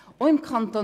Auch im Kanton